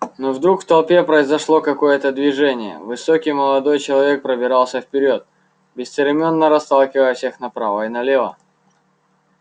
но вдруг в толпе произошло какое-то движение высокий молодой человек пробирался вперёд бесцеремонно расталкивая всех направо и налево